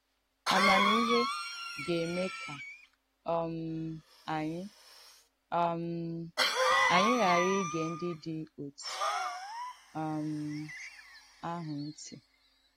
Àmàmihé gà-èmé kà um ànyị̣ um ànyị̣ ghaàrà ìgé ndí dị̀ òtù um àhụ́ ǹtí.